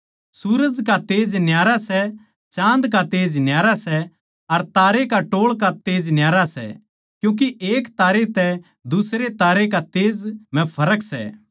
सूरज का तेज न्यारा सै चाँद का तेज न्यारा सै अर तारा के टोळ का तेज न्यारा सै क्यूँके एक तारै तै दुसरै तारै कै तेज म्ह फर्क सै